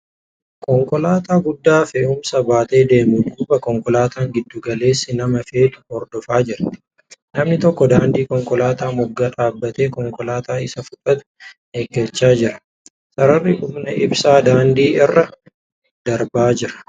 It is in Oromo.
Konkolaataa guddaa fe'umsa baatee deemu duuba konkolaataan giddu galeessi nama feetu hordofaa jirti . Namni tokko daandii konkolaataa moggaa dhaabbatee konkolaataa isa fudhattu eeggachaa jira. Sararri humna ibsaa daandii irra darbaa jira.